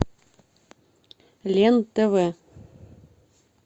лен тв